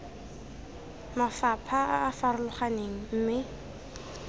mafapha a a farologaneng mme